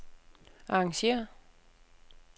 arrangér